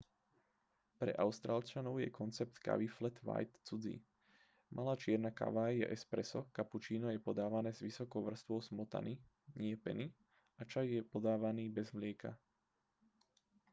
pre austrálčanov je koncept kávy flat white cudzí. malá čierna káva je espresso kapučíno je podávané s vysokou vrstvou smotany nie peny a čaj je podávaný bez mlieka